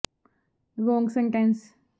ਉਹ ਮੱਛੀ ਪਾਲਣ ਅਜੇ ਵੀ ਬਰਾਮਦ ਨਹੀਂ ਹੋਏ ਹਨ